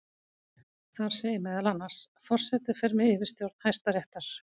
Þar segir meðal annars: Forseti fer með yfirstjórn Hæstaréttar.